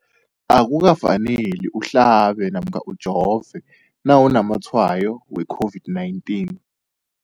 Akuka faneli uhlabe namkha ujove nawu namatshayo we-COVID-19.